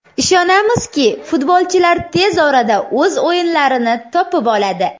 Ishonamizki, futbolchilar tez orada o‘z o‘yinlarini topib oladi.